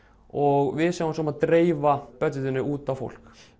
og við sjáum svo um að dreifa út á fólk